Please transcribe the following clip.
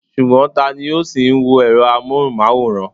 Ṣùgbọ́n, tani ó ṣì ń wo èrọ amóhùnmáwòrán?